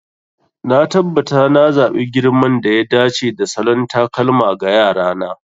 Na tabbata na zaɓi girman da ya dace da salon takalma ga Yara na.